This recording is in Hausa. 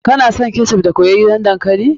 Kana son ketchup da soyayyan dankali?